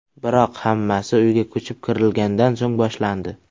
Biroq... Hammasi uyga ko‘chib kirilgandan so‘ng boshlandi.